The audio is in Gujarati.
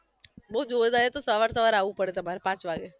બહુ જોરદાર એ તો સવાર સવાર આવવુ પડે તમાર પાંચ વાગે